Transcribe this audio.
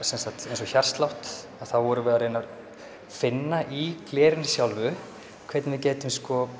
eins og hjartslátt þá vorum við að reyna að finna í glerinu sjálfu hvernig við gætum